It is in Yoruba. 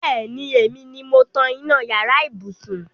Bẹẹni, èmi ni mo tan iná yàrá ibùsùn